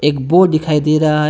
Board दिखाई दे रहा है।